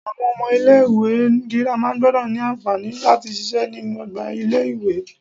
Àwon omo ilé ìwé girama gbodò ní ànfàní láti sise nínú ogbà ilé ìwé